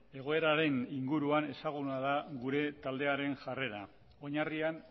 egoeraren inguruan ezaguna da gure taldearen jarrera oinarrian